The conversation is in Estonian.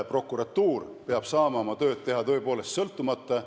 Prokuratuur peab saama oma tööd teha tõepoolest sõltumata.